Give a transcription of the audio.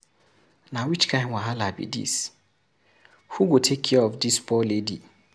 Na which kin wahala be dis. Who go take care of dis poor lady.